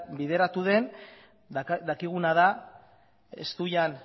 bideratu den dakiguna da ez zuian